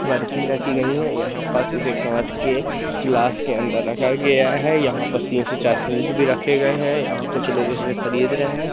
बर्फी रखी गई हैं यहां पास इसे कांच के गिलास के अंदर रखा गया है यहां पर तीन से चार फ्रिज रखे गए हैं यहां कुछ लोगों इसे खरीद रहे हैं।